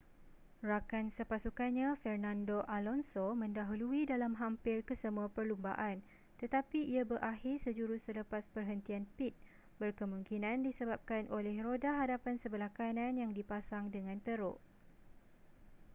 rakan sepasukannya fernando alonso mendahului dalam hampir kesemua perlumbaan tetapi ia berakhir sejurus selepas perhentian pit berkemungkinan disebabkan oleh roda hadapan sebelah kanan yang dipasang dengan teruk